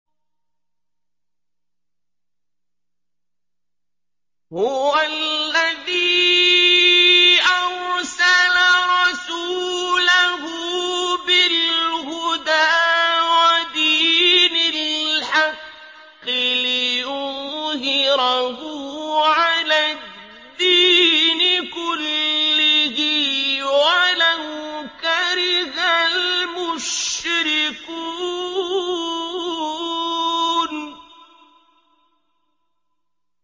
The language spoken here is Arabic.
هُوَ الَّذِي أَرْسَلَ رَسُولَهُ بِالْهُدَىٰ وَدِينِ الْحَقِّ لِيُظْهِرَهُ عَلَى الدِّينِ كُلِّهِ وَلَوْ كَرِهَ الْمُشْرِكُونَ